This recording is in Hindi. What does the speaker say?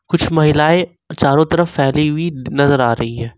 कुछ महिलाएं चारों तरफ फैली नजर आ रही है।